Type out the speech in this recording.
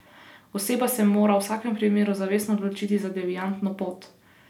Oseba se mora v vsakem primeru zavestno odločiti za deviantno pot.